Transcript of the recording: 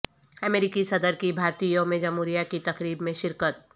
امریکی صدر کی بھارتی یوم جمہوریہ کی تقریب میں شرکت